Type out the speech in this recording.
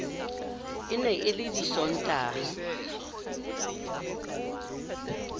e ne e le disontaha